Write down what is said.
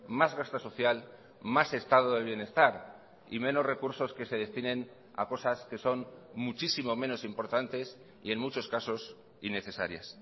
más gasto social más estado de bienestar y menos recursos que se destinen a cosas que son muchísimo menos importantes y en muchos casos innecesarias